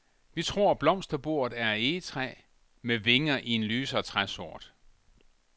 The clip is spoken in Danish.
Vi tror blomsterbordet er af egetræ, med vinger i en lysere træsort.